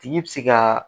Tigi bɛ se ka